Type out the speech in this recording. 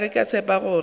ga ke tshepe gore ke